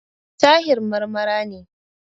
Tahir Marmara ne.